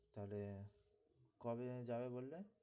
তাহলে কবে যেন যাবে বললে?